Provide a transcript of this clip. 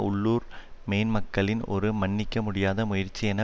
உள்ளூர் மேன்மக்களின் ஒரு மன்னிக்க முடியாத முயற்சி என